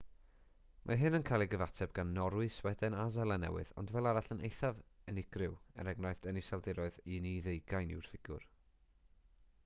mae hyn yn cael ei gyfateb gan norwy sweden a seland newydd ond fel arall yn eithaf yn eithaf unigryw e.e. yn yr iseldiroedd un i ddeugain yw'r ffigur